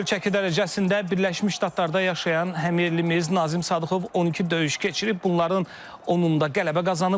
Yüngül çəki dərəcəsində Birləşmiş Ştatlarda yaşayan həmyerlimiz Nazim Sadıxov 12 döyüş keçirib, bunların 10-da qələbə qazanıb.